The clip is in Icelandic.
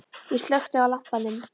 Ég slökkti á lampanum.